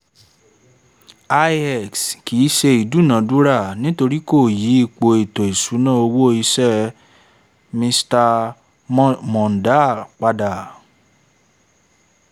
ix) kìí ṣe ìdúnadúrà nítorí kò yí ipò ètò ìṣúná owó iṣẹ́ mr mondal pada